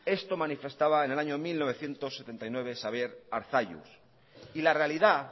esto manifestaba en el año mil novecientos setenta y nueve xabier arzalluz y la realidad